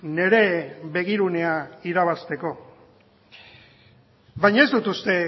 nire begirunea irabazteko baina ez dut uste